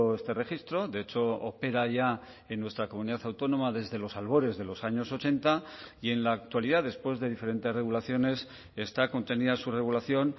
este registro de hecho opera ya en nuestra comunidad autónoma desde los albores de los años ochenta y en la actualidad después de diferentes regulaciones está contenida su regulación